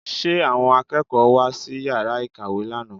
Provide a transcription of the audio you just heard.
Ṣe àwọn akẹ́kọ̀ọ́ wá sí yàrá ìkàwé lánàá?